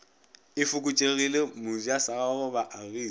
e fokotšegile mojasagagwe ba agile